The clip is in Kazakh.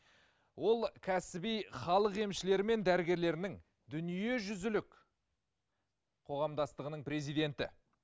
ол кәсіби халық емшілері мен дәрігерлерінің дүниежүзілік қоғамдастығының президенті